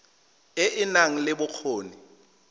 e e nang le bokgoni